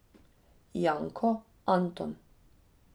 Janko, Anton.